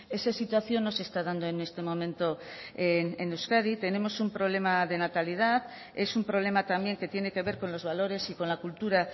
esa situación no se está dando en este momento en euskadi tenemos un problema de natalidad es un problema también que tiene que ver con los valores y con la cultura